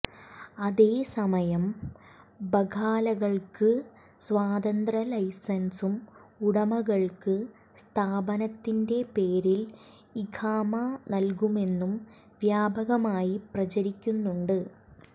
അതേസമയം ബഖാലകൾക്ക് സ്വതന്ത്ര ലൈസൻസും ഉടമകൾക്ക് സ്ഥാപനത്തിന്റെ പേരിൽ ഇഖാമ നൽകുമെന്നും വ്യാപകമായി പ്രചരിക്കുന്നുണ്ട്